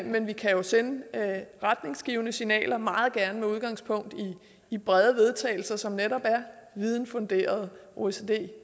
men vi kan jo sende retningsgivende signaler og meget gerne med udgangspunkt i brede vedtagelser som netop er videnfunderede oecd